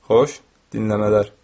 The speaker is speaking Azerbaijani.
Xoş dinləmələr.